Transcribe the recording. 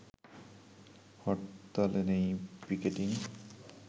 হরতালে নেই পিকেটিং